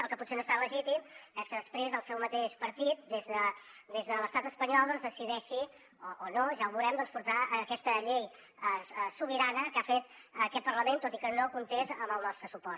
el que potser no és tan legítim és que després el seu mateix partit des de l’estat espanyol decideixi o no ja ho veurem doncs portar aquesta llei sobirana que ha fet aquest parlament tot i que no comptés amb el nostre suport